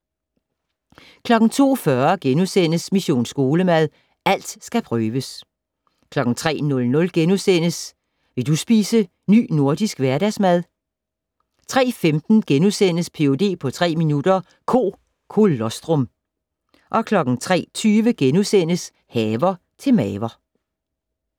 02:40: Mission Skolemad: Alt skal prøves * 03:00: Vil du spise Ny Nordisk Hverdagsmad? * 03:15: Ph.d. på tre minutter - Ko colostrum * 03:20: Haver til maver *